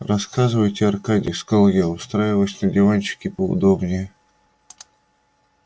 рассказывайте аркадий сказал я устраиваясь на диванчике поудобнее